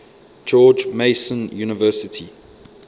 george mason university